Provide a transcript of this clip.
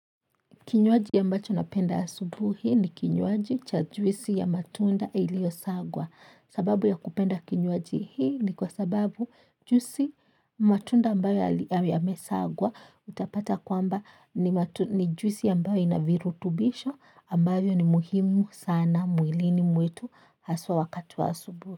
Kinyuaji ambacho napenda asubuhi ni kinyuaji cha juisi ya matunda ilio sagwa. Sababu ya kupenda kinyuaji hii ni kwa sababu juisi matunda ambayo yame sagwa utapata kwamba ni juisi ambayo ina virutubisho ambayo ni muhimu sana mwilini mwetu haswa wakai wa asubuhi.